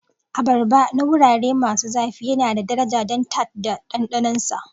Abarba na wurare masu zafi yana da daraja don tart da ɗanɗanon sa.